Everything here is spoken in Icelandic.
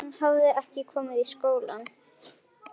Hann hafði ekki komið í skólann.